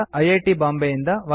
Bombay